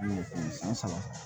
San saba